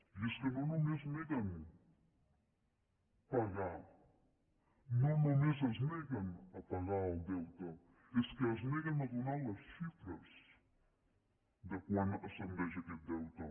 i és que no només neguen pagar no només es neguen a pagar el deute és que es neguen a donar les xifres de a quant ascendeix aquest deute